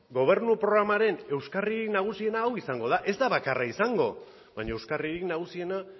gobernu programaren euskarririk nagusiena hau izango da ez da bakarra izango baina euskarririk nagusiena